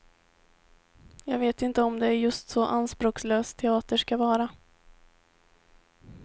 Jag vet inte om det är just så anspråkslös teater ska vara.